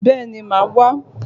Bẹ́ẹ̀ni, màá wá.